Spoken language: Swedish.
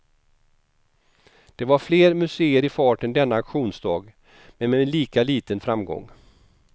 Det var fler museer i farten denna auktionsdag, men med lika liten framgång.